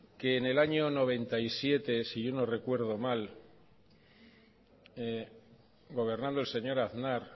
que en el año mil novecientos noventa y siete si yo no recuerdo mal gobernando el señor aznar